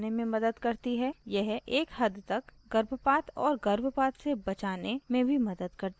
यह एक हद तक गर्भपात और गर्भपात से बचाने में भी मदद करती है